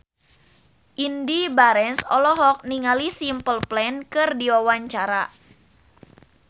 Indy Barens olohok ningali Simple Plan keur diwawancara